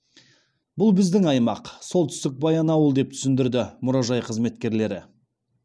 бұл біздің аймақ солтүстік баянауыл деп түсіндірді мұражай қызметкерлері